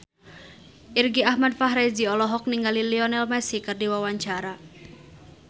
Irgi Ahmad Fahrezi olohok ningali Lionel Messi keur diwawancara